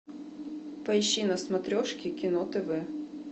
поищи на смотрешке кино тв